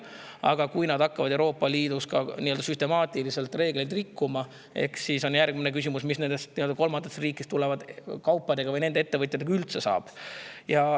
Aga kui nad hakkavad Euroopa Liidus süstemaatiliselt reegleid rikkuma, siis on järgmine küsimus, mis nendest kolmandatest riikidest tulevatest kaupadest või nendest ettevõtjatest üldse saab.